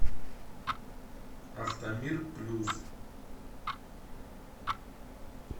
автомир плюс